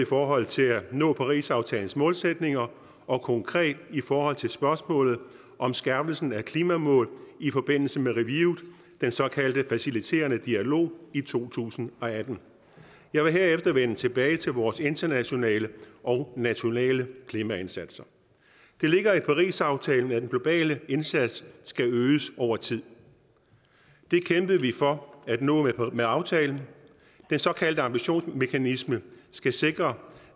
forhold til at nå parisaftalens målsætninger og konkret i forhold til spørgsmålet om skærpelsen af klimamål i forbindelse med reviewet den såkaldte faciliterende dialog i to tusind og atten jeg vil herefter vende tilbage til vores internationale og nationale klimaindsatser det ligger i parisaftalen at den globale indsats skal øges over tid det kæmpede vi for at nå med aftalen den såkaldte ambitionsmekanisme skal sikre